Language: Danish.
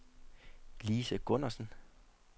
Lise Gundersen